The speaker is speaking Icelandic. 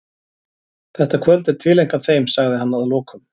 Þetta kvöld er tileinkað þeim, sagði hann að lokum.